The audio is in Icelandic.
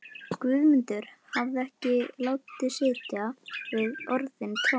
Guðmundur hafði ekki látið sitja við orðin tóm.